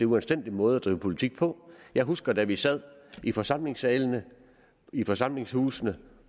uanstændig måde at drive politik på jeg husker da vi sad i forsamlingshusene i forsamlingshusene